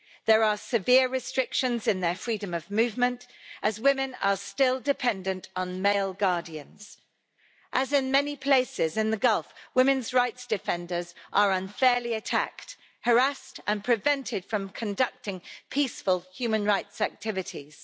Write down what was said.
There are severe restrictions in their freedom of movement, as women are still dependent on male guardians. As in many places in the Gulf, women's rights defenders are unfairly attacked, harassed and prevented from conducting peaceful human rights activities.